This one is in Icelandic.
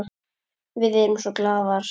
Við erum glaðar.